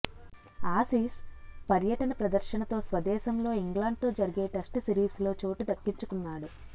Aussies పర్యటన ప్రదర్శనతో స్వదేశంలో ఇంగ్లడ్తో జరిగే టెస్ట్ సిరీస్లో చోటు దక్కించుకున్నాడు